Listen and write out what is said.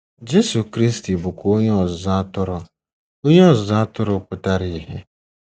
Jesu Kristi bụkwa Onye Ọzụzụ Atụrụ Onye Ọzụzụ Atụrụ pụtara ìhè.